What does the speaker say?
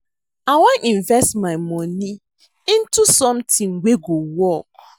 I wan invest my money into something wey go work